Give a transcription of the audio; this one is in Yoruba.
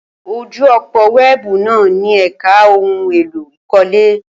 Ojú òpó wẹ́ẹ̀bù náà ní ẹ̀ka ohun èlò ìkọ́lé.